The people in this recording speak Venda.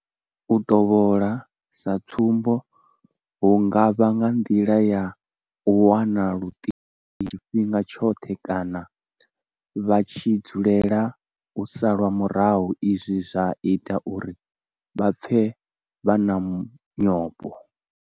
U tovhola sa tsumbo hu nga vha nga nḓila ya u wana luṱingo tshifhinga tshoṱhe kana vha tshi dzulela u salwa murahu izwi zwa ita uri vha pfe vha na nyofho.